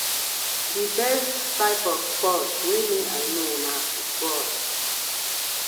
the best type of sports wey me i know na football